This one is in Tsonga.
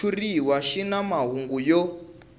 xitshuriwa xi na mahungu yo